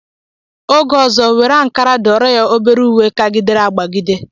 Oge ọzọ, were Ankara dụọrọ ya obere uwe kagidere akpagide!